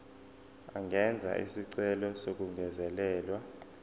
angenza isicelo sokungezelelwa